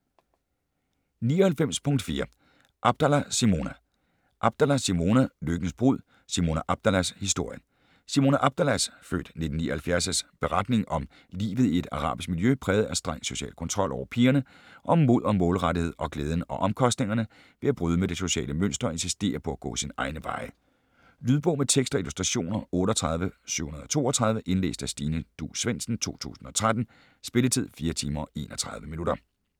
99.4 Abdallah, Simona Abdallah, Simona: Lykkens brud: Simona Abdallahs historie Simona Abdallahs (f. 1979) beretning om livet i et arabisk miljø præget af streng social kontrol over pigerne, om mod og målrettethed og glæden og omkostningerne ved at bryde med det sociale mønster og insistere på at gå sine egne veje. Lydbog med tekst og illustrationer 38732 Indlæst af Stine Duus Svendsen, 2013. Spilletid: 4 timer, 31 minutter.